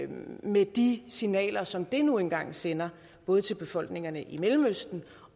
med de signaler som det nu engang sender både til befolkningerne i mellemøsten